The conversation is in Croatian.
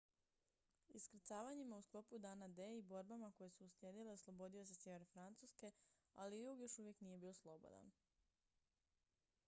iskrcavanjima u sklopu dana d i borbama koje su uslijedile oslobodio se sjever francuske ali jug još uvijek nije bio slobodan